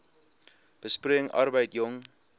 besproeiing arbeid jong